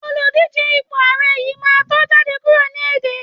Oludije ipo ààrẹ yin ma to jade kuro ni ede